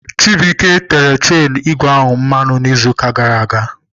Chibuike tere chenu ígwè ahụ mmanụ n'izuụka gara aga.